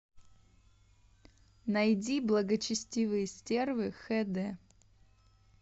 найди благочестивые стервы хд